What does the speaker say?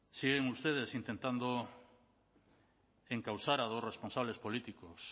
siguen ustedes intentando encausar a los responsables políticos